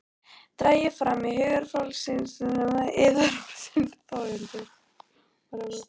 Dragið fram úr hugarfylgsnum yðar orðin Þórunnar.